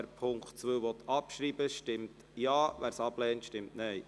Wer den Punkt 2 abschreiben will, stimmt Ja, wer dies ablehnt, stimmt Nein.